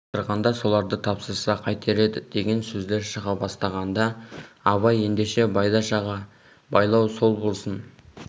тапсырғанда соларды тапсырса қайтер еді деген сөздер шыға бастағанда абай ендеше байдаш аға байлау сол болсын